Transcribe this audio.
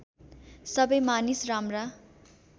सबै मानिस राम्रा